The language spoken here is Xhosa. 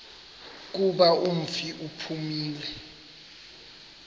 kuba umfi uphumile